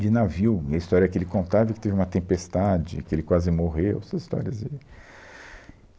de navio, e a história que ele contava, é que teve uma tempestade, que ele quase morreu, essas histórias aí.